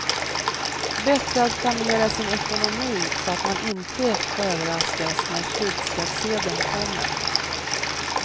Bättre att planera sin ekonomi så att man inte överraskas när slutskattesedeln kommer.